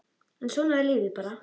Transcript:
En svona er lífið bara.